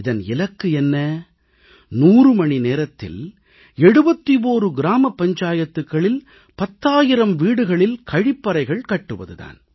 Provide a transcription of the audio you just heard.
இதன் இலக்கு என்ன 100 மணி நேரத்தில் 71 கிராம பஞ்சாயத்துக்களில் 10000 வீடுகளில் கழிப்பறைகள் கட்டுவது தான்